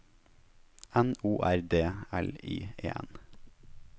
N O R D L I E N